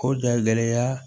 O da gɛlɛya